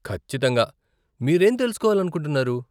ఖచ్చితంగా, మీరేం తెలుసుకోవాలనుకుంటున్నారు ?